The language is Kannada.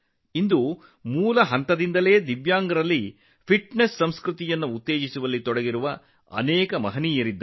ಇಂದು ತಳಮಟ್ಟದಲ್ಲಿರುವ ವಿಶೇಷ ಸಾಮರ್ಥ್ಯವುಳ್ಳವರಲ್ಲಿ ಫಿಟ್ನೆಸ್ ಸಂಸ್ಕೃತಿಯನ್ನು ಉತ್ತೇಜಿಸಲು ತೊಡಗಿರುವ ಅನೇಕ ಜನರಿದ್ದಾರೆ